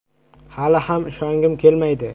“Hali ham ishongim kelmaydi”.